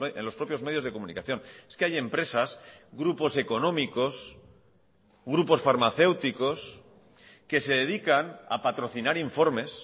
en los propios medios de comunicación es que hay empresas grupos económicos grupos farmacéuticos que se dedican a patrocinar informes